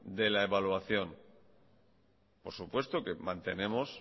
de la evaluación por supuesto que mantenemos